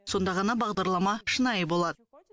сонда ғана бағдарлама шынайы болады